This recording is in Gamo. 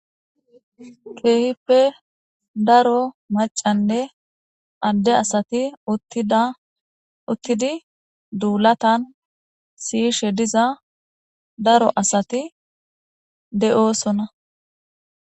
Keehippe daro macanne adde asati uttidi duulatan siishe diza daro asati de'oosona.